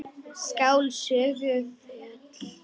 Skál, sögðu þau öll.